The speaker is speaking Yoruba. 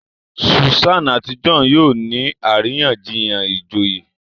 Susan àti John yóò ní àríyànjiyàn ìjòyè